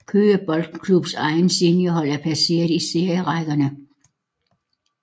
Køge Boldklubs egne seniorhold er placeret i serierækkerne